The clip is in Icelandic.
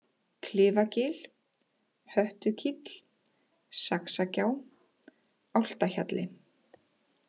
Klifagil, Höttukíll, Saxagjá, Álftahjalli